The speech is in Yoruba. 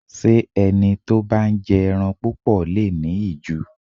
Ṣé ẹni tó bá ń jẹ ẹran púpọ̀ le è ní ìju?